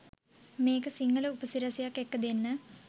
මේක සිංහල උපසි‍රැසියක් එක්ක දෙන්න.